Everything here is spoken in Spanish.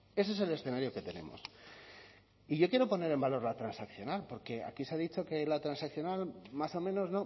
ese es el escenario que tenemos y yo quiero poner en valor la transaccional porque aquí se ha dicho que la transaccional más o menos